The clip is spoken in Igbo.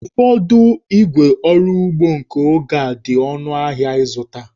Ụfọdụ ígwè ọrụ ugbo nke oge a dị ọnụ ahịa ịzụta